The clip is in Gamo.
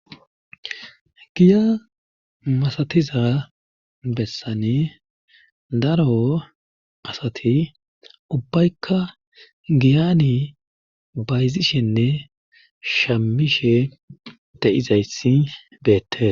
giya masatiza bessane daro asati ubbaykka giyani bayzishenne shamishe de7izayssi beette